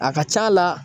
A ka c'a la